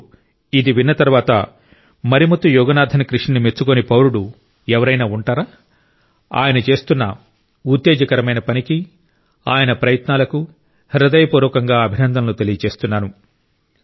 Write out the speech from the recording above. ఇప్పుడు ఇది విన్న తరువాత మరిముత్తు యోగనాథన్ కృషిని మెచ్చుకోని పౌరుడు ఎవరైనా ఉంటారా ఆయన చేస్తున్న ఉత్తేజకరమైన పనికి ఆయన ప్రయత్నాలకు హృదయపూర్వకంగా అభినందనలు తెలియజేస్తున్నాను